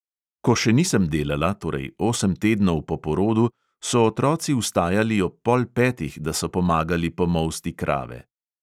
Ko še nisem delala, torej osem tednov po porodu, so otroci vstajali ob pol petih, da so pomagali pomolsti krave.